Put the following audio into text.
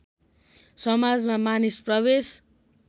समाजमा मानिस प्रवेश